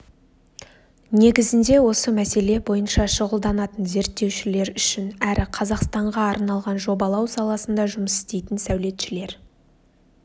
негізінде осы мәселе бойынша шұғылданатын зерттеушілер үшін әрі қазақстанға арналған жобалау саласында жұмыс істейтін сәулетшілер